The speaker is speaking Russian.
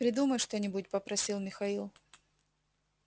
придумай что-нибудь попросил михаил